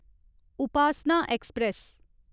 Upasana express